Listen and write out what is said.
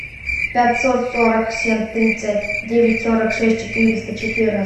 пятьсот сорок семь тридцать девять сорок шесть четыреста четырнадцать